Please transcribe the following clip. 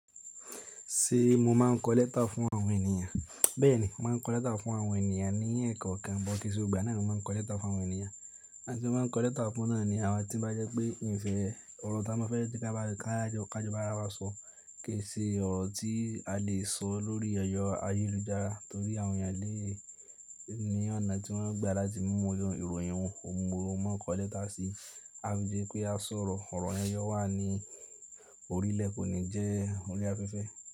Ṣé mo máa ń kọ lẹ́tà fún àwọn ènìyàn? Bẹ́ẹ̀ni, mo máa ń kọ lẹ́tà fún àwọn ènìyàn ní ẹ̀kọ́ kan, but kìí ṣe gbogbo ìgbà náà ni mo máa ń kọ lẹ́tà fún àwọn ènìyàn. Àwọn tí mo máa ń kọ lẹ́tà fún náà ni àwọn tí ó bá jẹ́ pé nísin yìí, ọ̀rọ̀ táa bá fẹ́ kí a bá ka jọ, ká jọ bá ara wa sọ kì í ṣe ọ̀rọ̀ tí a lè sọ lórí ẹ̀rọ̀ ayélujára torí àwọn ènìyàn lé è ní ọ̀nà tí wọ́n gbà láti mú irú ìròyìn wọn, ohun mo maa ń kọ lẹ́tà sí. A fii di pé a sọ̀rọ̀ ọ̀rọ̀ yẹn yó wà ní orílẹ̀ kò ní jẹ́ orí afẹ́fẹ́.